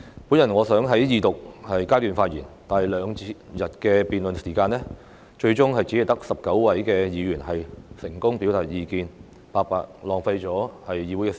本來我想在二讀階段發言，但在兩天的辯論時間內，最終只有19位議員成功表達意見，白白浪費議會的時間。